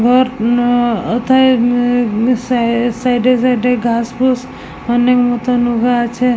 উম ওথায় উম সাইড -এ সাইড -এ গাছ অনেক মতন হওয়া আছে ।